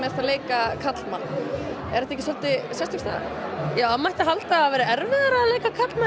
að leika karlmann það mætti halda að það væri erfiðara að leika karlmenn